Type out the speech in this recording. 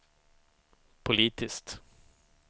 politiskt